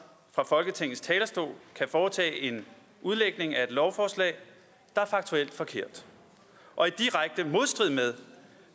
fra folketingets talerstol kan foretage en udlægning af et lovforslag der er faktuelt forkert og i direkte modstrid med